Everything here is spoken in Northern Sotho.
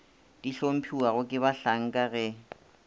di hlomphiwago ke bahlanka ge